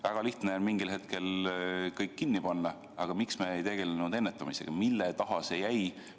Väga lihtne on mingil hetkel kõik kinni panna, aga miks me ei tegelenud ennetamisega, mille taha see jäi?